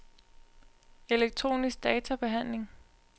elektronisk databehandling